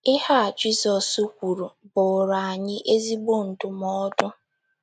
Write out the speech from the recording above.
Ihe a Jizọs kwuru bụụrụ anyị ezigbo ndụmọdụ.